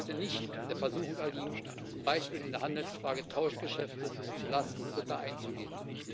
Die EU sollte nicht der Versuchung erliegen, zum Beispiel in der Handelsfrage Tauschgeschäfte zulasten Dritter einzugehen.